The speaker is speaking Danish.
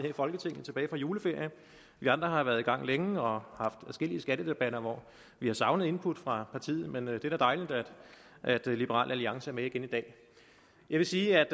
i folketinget efter juleferien vi andre har været i gang længe og har haft adskillige skattedebatter hvor vi har savnet input fra partiet men det er da dejligt at liberal alliance er med igen i dag jeg vil sige